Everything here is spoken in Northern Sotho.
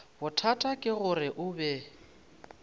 bothata ke gore o be